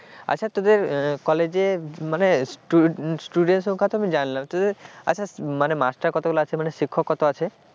আচ্ছা তোদের কলেজের মানে student তো সংখ্যা আমি জানলাম তোদের আচ্ছা মানে master কতগুলো আছে বলতো শিক্ষক কত আছে,